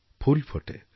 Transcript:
ফুল ফোটে